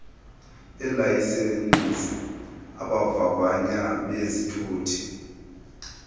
beelayisenisi abavavanyi bezithuthi